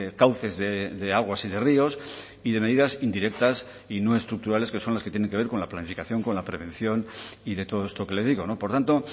cauces de aguas y de ríos y de medidas indirectas y no estructurales que son las que tienen que ver con la planificación con la prevención y de todo esto que le digo por tanto